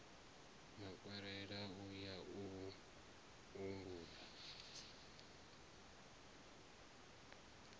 makwarela u ya u angula